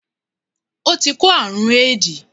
O ti kó àrún éèdì.